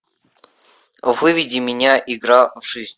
выведи меня игра в жизнь